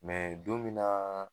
don min